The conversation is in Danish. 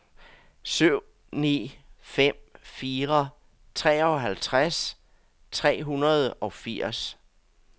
syv ni fem fire treoghalvtreds tre hundrede og firs